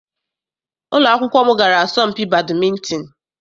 Ụlọ akwụkwọ m gara asọmpi badịmịntịn.